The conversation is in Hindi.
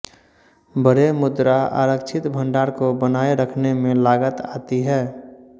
बड़े मुद्रा आरक्षित भंडार को बनाए रखने में लागत आती है